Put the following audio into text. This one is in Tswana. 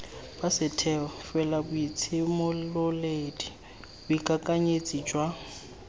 ba setheo felaboitshimololedi boikakanyetsi jwa